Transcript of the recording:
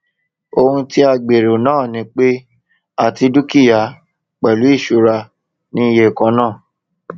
ohun tí a gbèrò náà ni pé àti dúkìá pẹlú ìṣura ní iye kan náà